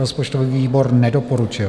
Rozpočtový výbor nedoporučil.